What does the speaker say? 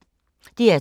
DR2